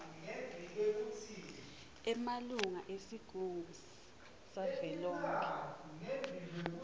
emalunga esigungu savelonkhe